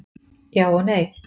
Já og nei